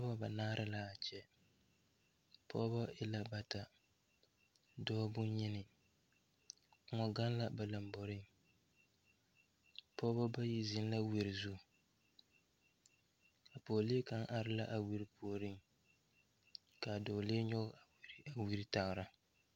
Nobɔ banaare laa kyɛ pɔɔbɔ e la bata dɔɔ bonyeni kòɔ gaŋ la ba lamboreŋ pɔɔbɔ bayi zeŋ la wiri zu a pɔɔlee kaŋ are la a wiri puoriŋ kaa dɔɔlee nyoge a wiri tagra.